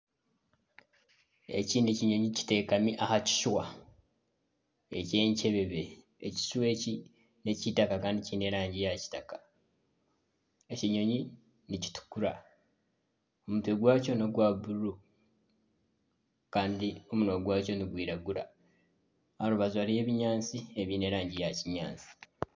Eki n'ekinyonyi kiteekami aha kishwa eky'enkyebebe. Ekishwa eki n'ekya eitaka kandi kiine erangi ya kitaka. Ekinyonyi nikitukura omutwe gwakyo n'ogwa bururu kandi omunwa gwakyo nigwiragura. Aha rubaju hariho ebinyaaatsi ebiine erangi ya kinyaatsi.